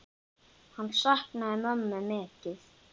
Hann saknaði mömmu mikið.